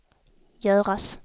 göras